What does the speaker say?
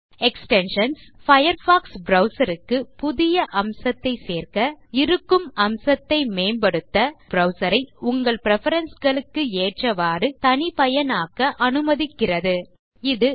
extensions Firefox browser க்கு புதிய அம்சத்தைச் சேர்க்க இருக்கும் அம்சத்தை மேம்படுத்த பயர்ஃபாக்ஸ் ப்ரவ்சர் ஐ உங்கள் preferenceகளுக்கு ஏற்றவாறு தனிபயனாக்க அனுமதிக்கிறது எக்ஸ்டென்ஷன்ஸ்